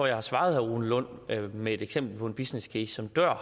jeg har svaret herre rune lund med et eksempel på en businesscase som dør